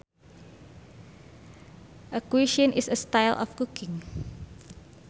A cuisine is a style of cooking